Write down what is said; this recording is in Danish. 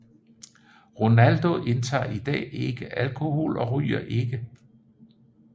Ronaldo indtager i dag ikke alkohol og ryger ikke